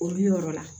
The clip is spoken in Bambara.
Olu yɔrɔ la